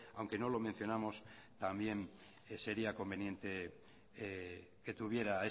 aunque no lo mencionamos también sería conveniente que tuviera